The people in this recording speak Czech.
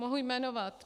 Mohu jmenovat.